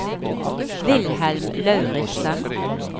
Wilhelm Lauritsen